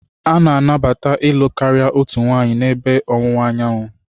A nabatara ịlụ karịa otu nwanyị n'ebe Ọwụwa Anyanwụ.